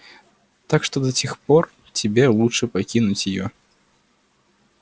так что до тех пор тебе лучше покинуть её